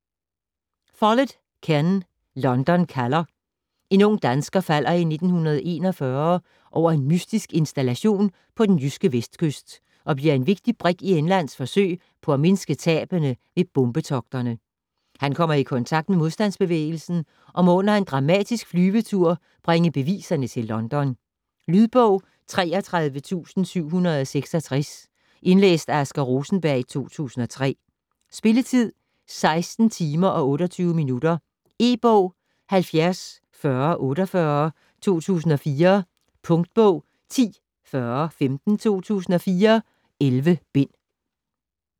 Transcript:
Follett, Ken: London kalder En ung dansker falder i 1941 over en mystisk installation på den jyske vestkyst og bliver en vigtig brik i Englands forsøg på at mindske tabene ved bombetogterne. Han kommer i kontakt med modstandsbevægelsen og må under en dramatisk flyvetur bringe beviserne til London. Lydbog 33766 Indlæst af Asger Rosenberg, 2003. Spilletid: 16 timer, 28 minutter. E-bog 704048 2004. Punktbog 104015 2004. 11 bind.